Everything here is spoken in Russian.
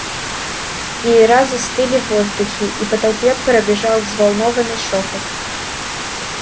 веера застыли в воздухе и по толпе пробежал взволнованный шёпот